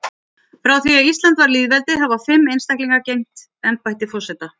Frá því að Ísland varð lýðveldi hafa fimm einstaklingar gegnt embætti forseta.